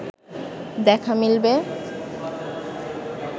দেখা মিলবে